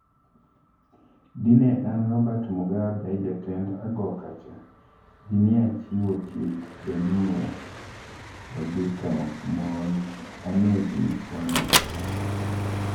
"Dine an Robert Mugabe jatend agokocha, dineachiwo chik(Benhura) ondhii to mond aneg mifwano go.